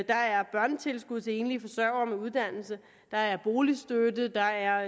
er børnetilskud til enlige forsørgere med uddannelse der er boligstøtte der er